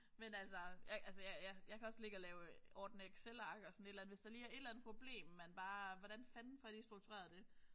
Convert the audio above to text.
Men altså jeg altså jeg ja jeg kan også ligge og lave ordne excelark og sådan et eller andet. Hvis der lige er et eller andet problem man bare hvordan fanden får jeg lige struktureret det